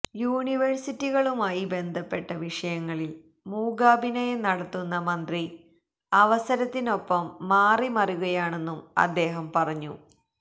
യൂണിവേഴ്സിറ്റികളുമായി ബന്ധപ്പെട്ട വിഷയങ്ങളില് മൂകാഭിനയം നടത്തുന്ന മന്ത്രി അവസരത്തിനൊപ്പം മാറിമറിയുകയാണെന്നും അദ്ദേഹം പറഞ്ഞു